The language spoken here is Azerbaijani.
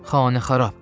Xanəxarab.